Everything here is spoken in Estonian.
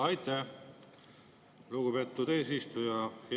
Aitäh, lugupeetud eesistuja!